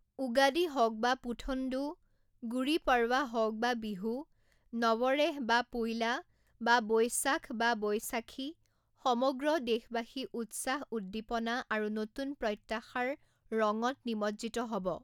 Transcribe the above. উগাদি হওক বা পুথণ্ডু, গুড়ি পড়ৱা হওক বা বিহু, নৱৰেহ’ব া পোইলা, বা বৈশাখ বা বৈইসাখি সমগ্ৰ দেশবাসী উৎসাহ, উদ্দীপনা আৰু নতুন প্ৰত্যাশাৰ ৰঙত নিমজ্জিত হ’ব ।